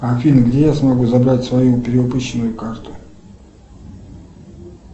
афина где я смогу забрать свою перевыпущенную карту